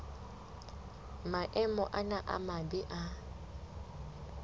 maemo ana a mabe a